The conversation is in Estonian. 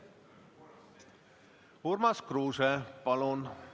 Urmas Kruuse, palun!